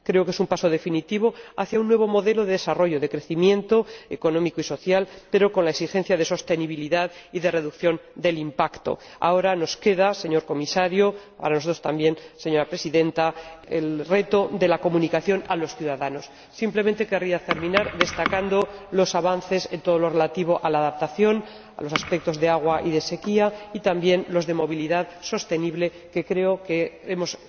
Creo que es un paso definitivo hacia un nuevo modelo de desarrollo, de crecimiento económico y social, pero con la exigencia de sostenibilidad y de reducción del impacto. Ahora nos queda, señor Comisario, para nosotros también, señora Presidenta, el reto de la comunicación a los ciudadanos. Simplemente querría terminar destacando los avances en todo lo relativo a la adaptación a los aspectos de agua y de sequía y también los de movilidad sostenible, que creo que hemos...